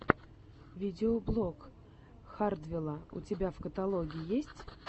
видеоблог хардвелла у тебя в каталоге есть